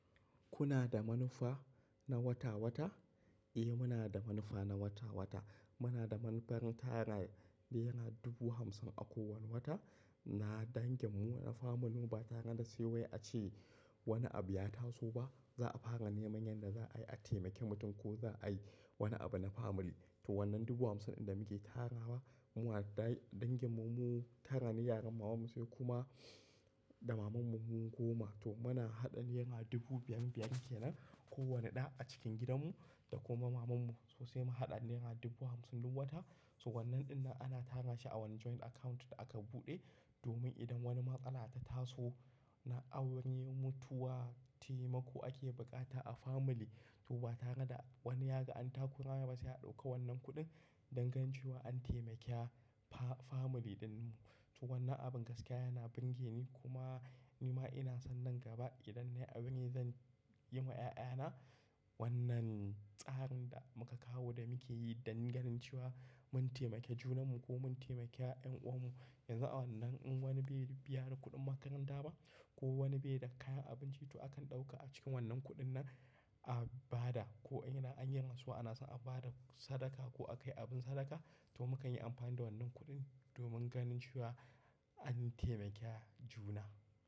Kuna da manufa na wata-wata? Eh muna da manufa na wata-wata. Muna da manufar tara nera dubu hamsin a kowane wata. Na dangin mu wani famili ba tare da sai wai ace wani abu ya taso ba, za a fara neman yadda za a yi a taimake mutum ko za a yi wani abu na family. To wannan dubu hamsin ɗin da muke tarawa, mu wa da dangin mu tara ni yaran maman mu sai kuma da maman mu mu goma. To muna haɗa nera dubu biyar-biyar kenan kowane ɗa a cikin gidanmu da kuma maman mu. Sosai mu haɗa nera dubu hamsin duk wata. So wannan ɗin nan ana tara shi a wani joint account da aka buɗe domin idan wani matsala ta taso na a aure mutuwa, taimako ake bukata a family, to ba tare da wani ya ga an tako rana ba sai a ɗauka wannan kuɗin don ganin cewa an taimaki family ɗin mu. To wannan abin gaskiya yana bunge ni kuma ni ma ina son nan gaba idan nayi abin ne zan yi ma ƴaƴana wannan tsarin da muka kawo da muke yi don ganin cewa mun taimake junanmu ko mun taimaki ƴan uwannu. Yanzu a wannan in wani bai biya ni kuɗin makaranta ba ko wani bai da kayan abinci, to akan ɗauka a cikin wannan kuɗin nan a ba da ko ina an yi rantsuwa ana son a ba da sadaka ko a kai abin sadaka, to mukan yi amfani da wannan kuɗin domin ganin cewa an taimaki juna.